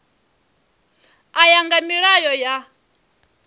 u ya nga milayo ya